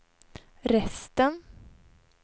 resten